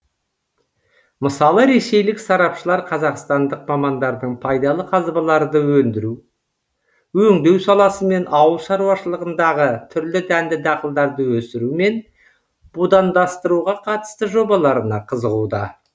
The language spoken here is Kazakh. мысалы ресейлік сарапшылар қазақстандық мамандардың пайдалы қазбаларды өндіру өңдеу саласы мен ауыл шаруашылығындағы түрлі дәнді дақылдарды өсіру мен будандастыруға қатысты жобаларына қызығуда